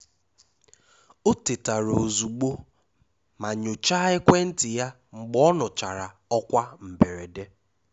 Ọ̀ tètàrà ozùgbò mà nyochàà ekwentị ya mgbe ọ nụchara ọ́kwá mberede.